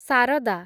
Saradha